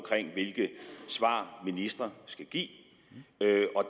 hvilke svar ministre skal give det